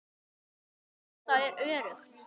Jú, það er öruggt.